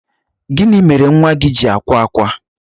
gini mere nwa gi ji akwa akwa?